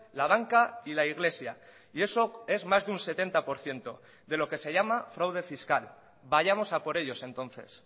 la banca y la iglesia y eso es más de un setenta por ciento de lo que se llama fraude fiscal vayamos a por ellos entonces